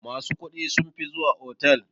Masu kuɗi sunfi zuwa otal.